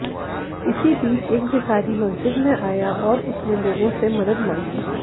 इसी बीच एक भिखारी मस्जिद में आया और उसने लोगों से मदद मांगी